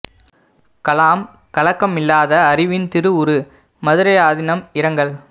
கலாம் கலக்கம் இல்லாத அறிவின் திரு உரு மதுரை ஆதினம் இரங்கல்